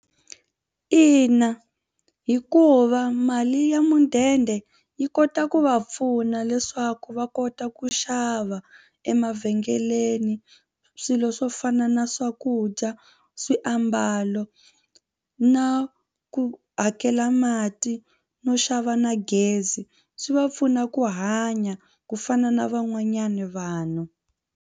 Ina hikuva mali ya mudende yi kota ku va pfuna leswaku va kota ku xava emavhengeleni swilo swo fana na swakudya swiambalo na ku hakela mati no xava na gezi swi va pfuna ku hanya ku fana na van'wanyana vanhu.